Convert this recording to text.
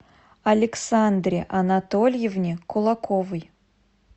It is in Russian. александре анатольевне кулаковой